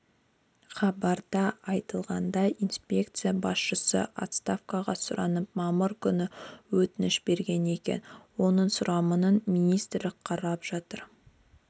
хабарда айтылғандай инспекция басшысы отставкаға сұранып мамыр күні өтініш берген екен оның сұранымын министрлік қарап жатыр